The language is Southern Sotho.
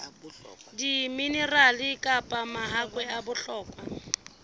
diminerale kapa mahakwe a bohlokwa